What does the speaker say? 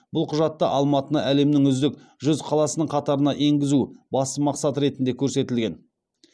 бұл құжатта алматыны әлемнің үздік жүз қаласының қатарына енгізу басты мақсат ретінде көрсетілген